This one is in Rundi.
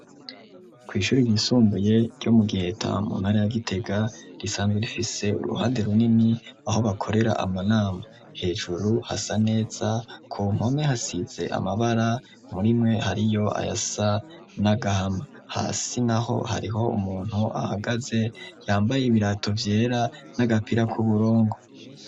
Kw'ishuri ryisumbuye ryo mu Giheta mu ntara ya Gitega, risanzwe rifise uruhande runini aho bakorera amanama, hejuru hasa neza, ku mpome hasize amabara, murimwe hariyo ayasa n'agahama, hasi naho hariho umuntu ahagaze, yambaye ibirato vyera n'agapira k'uburongo.